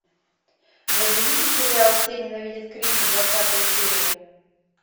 загрузите сериал все ненавидят криса двадцатая серия